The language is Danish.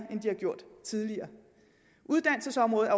end de har gjort tidligere uddannelsesområdet